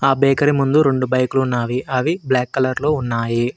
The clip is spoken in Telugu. ఆ బేకరి ముందు రెండు బైక్ లు ఉన్నావి అవి బ్లాక్ కలర్ లో ఉన్నాయి.